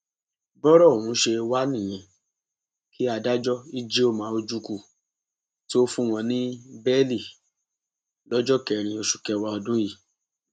bọrọ ọhún ṣe wá nìyẹn kí adájọ ijeoma ojukwu tóó fún wọn ní bẹẹlí lọjọ kẹrin oṣù kẹwàá ọdún yìí